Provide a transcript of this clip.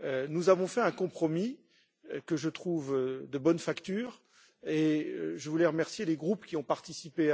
Nous avons fait un compromis, que je trouve de bonne facture, et je voulais remercier les groupes qui y ont participé.